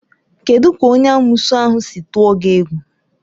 Kedụ ka onye amoosu ahụ si tụọ gị egwu?